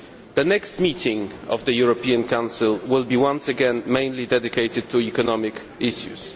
The next meeting of the European Council will once again be mainly dedicated to economic issues.